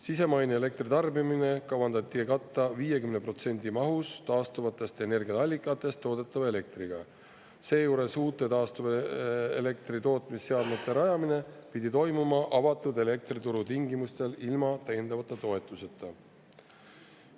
Sisemaine elektritarbimine kavandati katta 50% mahus taastuvatest energiaallikatest toodetava elektriga, seejuures uute taastuvelektri tootmise seadmete rajamine pidi toimuma avatud elektrituru tingimustel ilma täiendavate toetusteta.